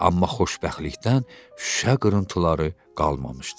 Amma xoşbəxtlikdən şüşə qırıntıları qalmamışdı.